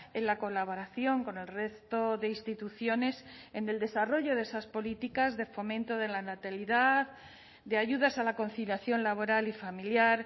en la colaboración con el resto de instituciones en el desarrollo de esas políticas de fomento de la natalidad de ayudas a la conciliación laboral y familiar